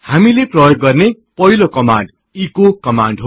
हामीले प्रयोग गर्ने पहिलो कमान्ड एचो कमान्ड हो